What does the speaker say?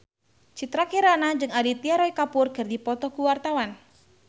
Citra Kirana jeung Aditya Roy Kapoor keur dipoto ku wartawan